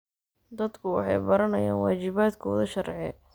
Dadku waxay baranayaan waajibaadkooda sharci.